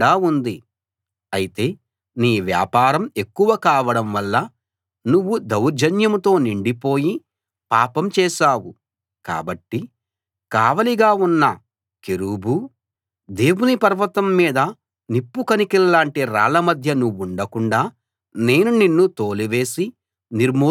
అయితే నీ వ్యాపారం ఎక్కువ కావడం వలన నువ్వు దౌర్జన్యంతో నిండిపోయి పాపం చేశావు కాబట్టి కావలిగా ఉన్న కెరూబూ దేవుని పర్వతం మీద నిప్పుకణికల్లాంటి రాళ్లమధ్య నువ్వుండకుండా నేను నిన్ను తోలివేసి నిర్మూలం చేశాను